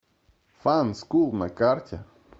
фанскул на карте